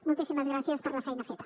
moltíssimes gràcies per la feina feta